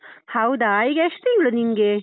ಹೌದಾ, ಈಗ ಎಷ್ಟ್ ತಿಂಗ್ಳು ನಿಂಗೆ?